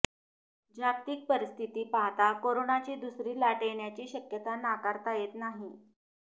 जागतिक परिस्थिती पाहता कोरोनाची दुसरी लाट येण्याची शक्यता नाकारता येत नाही